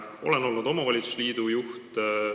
Olen olnud omavalitsusliidu juht.